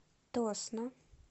тосно